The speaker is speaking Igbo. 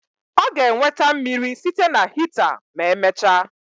Ọ ga-enweta mmiri site na hita ma emechaa